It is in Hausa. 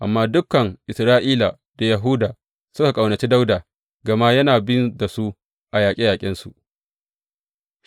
Amma dukan Isra’ila da Yahuda suka ƙaunaci Dawuda gama yana bin da su a yaƙe yaƙensu.